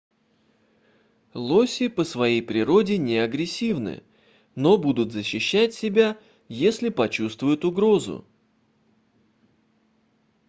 лоси по своей природе неагрессивны но будут защищать себя если почувствуют угрозу